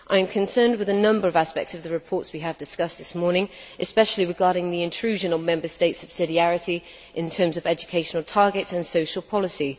I am concerned with a number of aspects of the reports we have discussed this morning, especially regarding the intrusion on Member States' subsidiarity in terms of educational targets and social policy.